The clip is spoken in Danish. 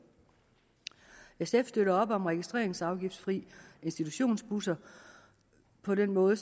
sf støtter op om registreringsafgiftsfri institutionsbusser på den måde